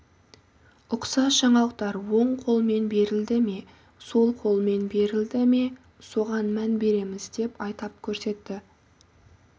ұқсас жаңалықтар он қолмен берілді ме сол қолмен берілді ме соған мән береміз деп атап көрсетті